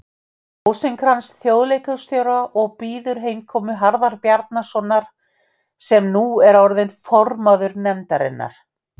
Rósinkranz þjóðleikhússtjóra og bíður heimkomu Harðar Bjarnasonar, sem nú er orðinn formaður nefndarinnar.